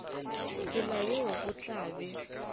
tsela yeo go tla be